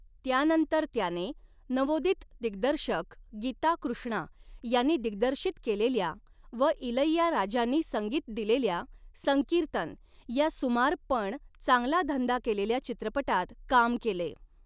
त्यानंतर त्याने नवोदित दिग्दर्शक गीता कृष्णा यांनी दिग्दर्शित केलेल्या व इलैयाराजांनी संगीत दिलेल्या 'संकीर्तन' या सुमार पण चांगला धंदा केलेल्या चित्रपटात काम केले.